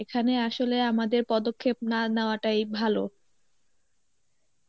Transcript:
এখানে আসলে আমাদের পদক্ষেপ না নেওয়াটাই ভালো.